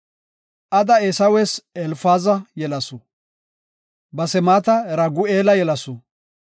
Ada Eesawes Elfaaza yelasu. Basemaata Ragu7eela yelasu.